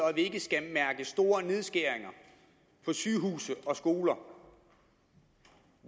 at vi ikke skal mærke store nedskæringer på sygehuse og skoler